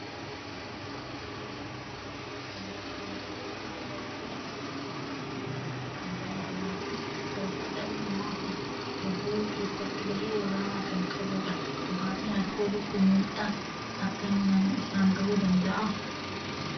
Dhugaatii alkoolii habashaa biiraa kan jedhamu gosoota dhugaatii alkoolii keessatti kan ramadamuu fi fayyaa dhala namaa hubuu keessatti gahee ol'aanaa kan qabuu dha. Dhugaatiin alkoolii kun miidhaa akkamii nama irraan gahuu danda'a?